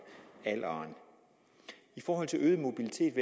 alderen i forhold til øget mobilitet